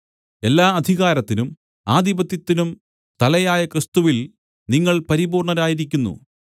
എല്ലാ അധികാരത്തിനും ആധിപത്യത്തിനും തലയായ ക്രിസ്തുവിൽ നിങ്ങൾ പരിപൂർണ്ണരായിരിക്കുന്നു